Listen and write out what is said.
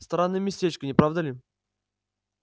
странное местечко не правда ли